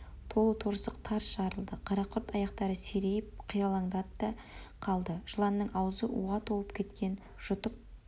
толы торсық тарс жарылды қарақұрт аяқтары серейіп қиралаңдады да қалды жыланның аузы уға толып кеткен жұтып